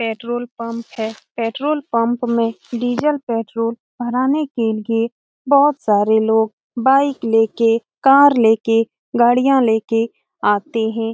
Petrol pump है petrol pump में diesel petrol भराने के लिए बहुत सारे लोग बाइक लेके कार लेके गाड़ियाँ लेके आते है ।